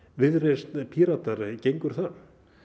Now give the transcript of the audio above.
viðreisn Píratar gengur það